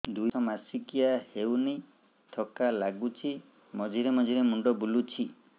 ଦୁଇ ମାସ ମାସିକିଆ ହେଇନି ଥକା ଲାଗୁଚି ମଝିରେ ମଝିରେ ମୁଣ୍ଡ ବୁଲୁଛି